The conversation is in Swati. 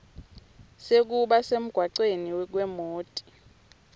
sekuba semgwacweni kwemoti